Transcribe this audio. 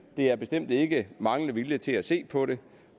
er bestemt ikke manglende vilje til at se på det